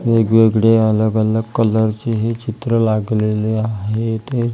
वेगवेगळे अलग अलग कलर चे हे चित्र लागलेले आहेत हे--